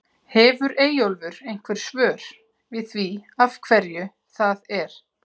Hefur Eyjólfur einhver svör við því af hverju það er?